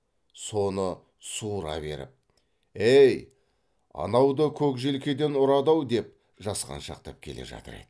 соны суыра беріп эй анау да көк желкеден ұрады ау деп жасқаншақтап келе жатыр еді